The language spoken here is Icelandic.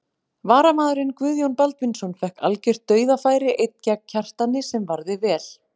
Varamaðurinn Guðjón Baldvinsson fékk algjört dauðafæri einn gegn Kjartani sem varði vel.